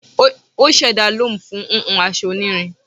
O ṣẹda loom fun hun aṣọ onirin